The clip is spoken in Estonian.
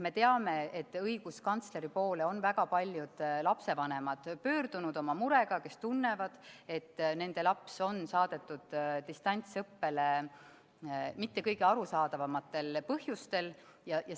Me teame, et õiguskantsleri poole on väga paljud lapsevanemad pöördunud murega, et nende laps on saadetud distantsõppele mitte kõige arusaadavamatel põhjustel.